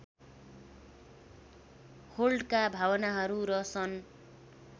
होल्टका भावनाहरू र सन्